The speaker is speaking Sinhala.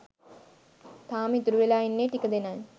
තාම ඉතුරු වෙලා ඉන්නේ ටික දෙනයි.